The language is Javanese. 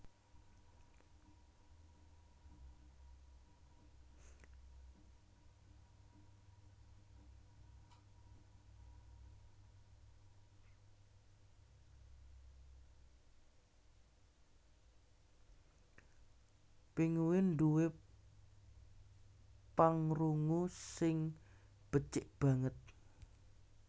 Pinguin duwé pangrungu sing becik banget